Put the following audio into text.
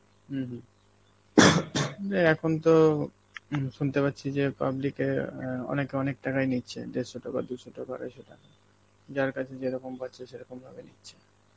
উম হম বে এখন তো হম শুনতে পারছি যে public এ অ্যাঁ অনেকে অনেক টাকাই নিচ্ছে দেড়শো টাকা, দু’শো টাকা, আড়াইশো টাকা, যার কাছে যেরকম পাচ্ছে সেরকমভাবে নিচ্ছে.